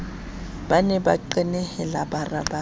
ne ba qenehela bara ba